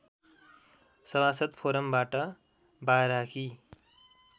सभासद् फोरमबाट बाराकी